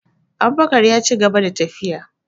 Abubakar yaci gaba da tafiya